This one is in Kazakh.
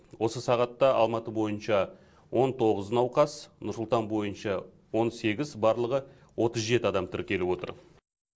осы сағатта алматы бойынша он тоғыз науқас нұр сұлтан бойынша он сегіз барлығы отыз жеті адам тіркеліп отыр